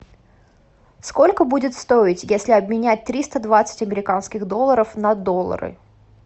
сколько будет стоить если обменять триста двадцать американских долларов на доллары